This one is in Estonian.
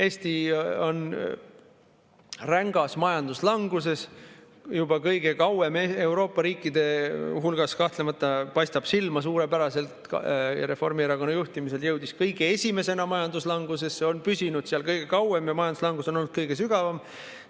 Eesti on rängas majanduslanguses juba kõige kauem Euroopa riikide hulgast, kahtlemata paistab silma suurepäraselt, ja Reformierakonna juhtimisel jõudis kõige esimesena majanduslangusesse, on püsinud seal kõige kauem ja majanduslangus on olnud kõige sügavam.